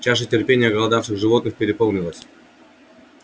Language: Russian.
чаша терпения оголодавших животных переполнилась